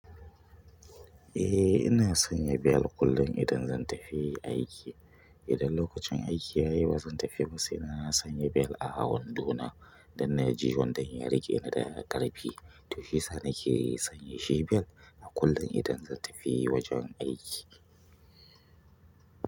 Eh ina sanya bel kullum idan zan tafi aiki. Idan lokacin aiki yayi bazan tafi sai na sanya belt a wandona don na ji wanda ya riƙe ni da ƙarfi. To shiyasa na ke sanya shi bel a kullum idan zan tafi wajen aiki.